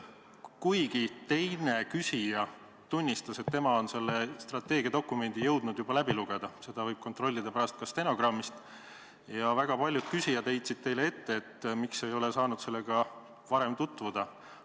Üks küsija küll tunnistas, et tema on selle strateegiadokumendi jõudnud juba läbi lugeda – seda võib pärast stenogrammist kontrollida –, aga väga paljud küsijad heitsid ette, miks ei ole saanud sellega varem tutvuda.